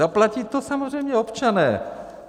Zaplatí to samozřejmě občané!